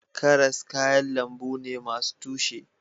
Karas kayan lambu ne masu tushe